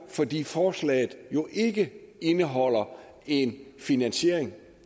fordi forslaget jo ikke indeholdt en finansiering